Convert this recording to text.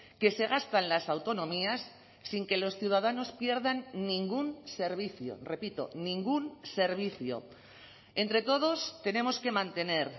que se gastan las autonomías sin que los ciudadanos pierdan ningún servicio repito ningún servicio entre todos tenemos que mantener